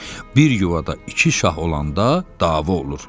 Bir yuvada iki şah olanda dava olur.